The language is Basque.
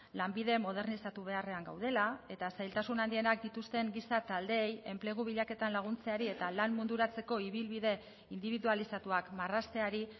lanbide modernizatu beharrean gaudela eta zailtasun handienak dituzten giza taldeei enplegu bilaketan laguntzeari eta lan munduratzeko ibilbide indibidualizatuak marrazteari